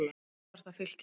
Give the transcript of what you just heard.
Fyrst var það Fylkir.